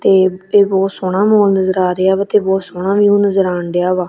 ਤੇ ਇਹ ਬਹੁਤ ਸੋਹਣਾ ਮੂਨ ਨਜ਼ਰ ਆ ਰਿਹਾ ਵਾ ਤੇ ਬਹੁਤ ਸੋਹਣਾ ਵਿਊ ਨਜ਼ਰ ਆਣ ਡਿਆ ਵਾ।